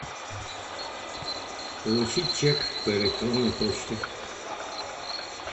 получить чек по электронной почте